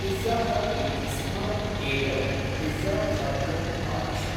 Pizza Hut इत्यस्मात् एकं पिजाखाद्यम् आदिश।